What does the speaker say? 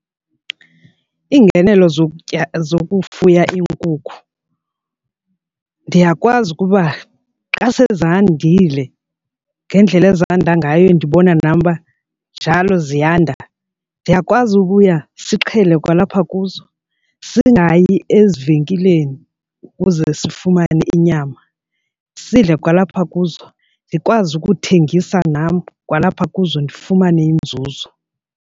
Iingenelo zokutya zokufuya iinkukhu ndiyakwazi ukuba xa sezandile ngendlela ezanda ngayo ndibona nam uba njalo ziyanda ndiyakwazi ukubuya sixhele kwalapha kuzo singayi ezivenkileni ukuze sifumane inyama, sidle kwalapha kuzo. Ndikwazi ukuthengisa nam kwalapha kuzo ndifumane inzuzo.